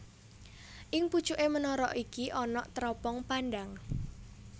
Ing pucuké menara iki ana teropong pandang